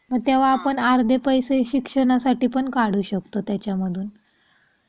मग तेव्हा आपण अर्धे पैसे शिक्षणासाठी पण काढू शकतो त्याच्यामधून .